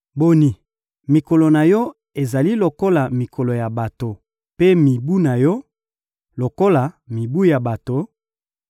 Boni, mikolo na Yo ezali lokola mikolo ya bato, mpe mibu na yo, lokola mibu ya bato,